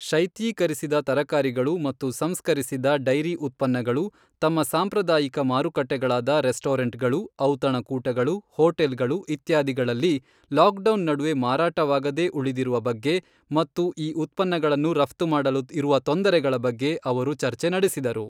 ಶೈತ್ಯೀಕರಿಸಿದ ತರಕಾರಿಗಳು ಮತ್ತು ಸಂಸ್ಕರಿಸಿದ ಡೈರಿ ಉತ್ಪನ್ನಗಳು ತಮ್ಮ ಸಾಂಪ್ರದಾಯಿಕ ಮಾರುಕಟ್ಟೆಗಳಾದ ರೆಸ್ಟೋರೆಂಟ್ಗಳು, ಔತಣಕೂಟಗಳು, ಹೋಟೆಲ್ಗಳು ಇತ್ಯಾದಿಗಳಲ್ಲಿ ಲಾಕ್ಡೌನ್ ನಡುವೆ ಮಾರಾಟವಾಗದೇ ಉಳಿದಿರುವ ಬಗ್ಗೆ ಮತ್ತು ಈ ಉತ್ಪನ್ನಗಳನ್ನು ರಫ್ತು ಮಾಡಲು ಇರುವ ತೊಂದರೆಗಳ ಬಗ್ಗೆ ಅವರು ಚರ್ಚೆ ನಡೆಸಿದರು.